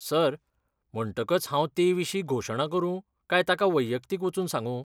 Sir, म्हणटकच हांव तेविशीं घोशणा करूं काय तांका वैयक्तीक वचून सांगू?